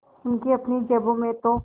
उनकी अपनी जेबों में तो